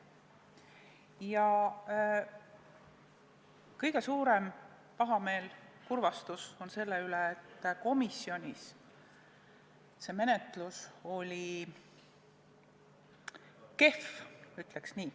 Ja kõige suuremat pahameelt ja kurbust tunnen ma selle pärast, et komisjonis oli selle menetlus kehv – ütleks nii.